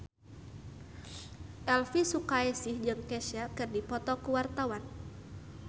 Elvi Sukaesih jeung Kesha keur dipoto ku wartawan